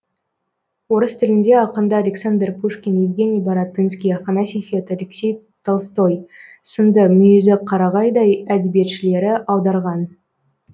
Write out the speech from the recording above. орыс тіліне ақынды александр пушкин евгений баратынский афанасий фет алексей толстой сынды мүйізі қарағайдай әдебиетшілері аударған